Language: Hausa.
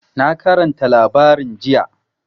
Na karanta labarin jiya.